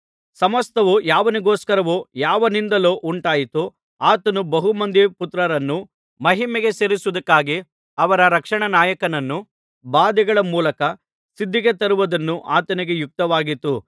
ಸಮಸ್ತವು ಯಾವನಿಗೋಸ್ಕರವೂ ಯಾವನಿಂದಲೂ ಉಂಟಾಯಿತೋ ಆತನು ಬಹುಮಂದಿ ಪುತ್ರರನ್ನು ಮಹಿಮೆಗೆ ಸೇರಿಸುವುದಕ್ಕಾಗಿ ಅವರ ರಕ್ಷಣಾನಾಯಕನನ್ನು ಬಾಧೆಗಳ ಮೂಲಕ ಸಿದ್ಧಿಗೆ ತರುವುದು ಆತನಿಗೆ ಯುಕ್ತವಾಗಿತ್ತು